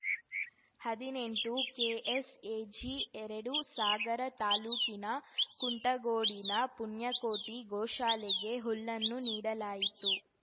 ಹದಿನೆಂಟು ಕೆಎಸ್‌ಎಜಿಎರಡು ಸಾಗರ ತಾಲೂಕಿನ ಕುಂಟಗೋಡಿನ ಪುಣ್ಯಕೋಟಿ ಗೋಶಾಲೆಗೆ ಹುಲ್ಲನ್ನು ನೀಡಲಾಯಿತು